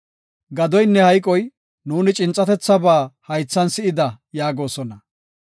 Gadoynne hayqoy, ‘Nuuni cincatethaba haythan si7ida’ yaagosona.